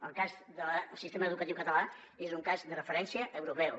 el cas del sistema educatiu català és un cas de referència europeu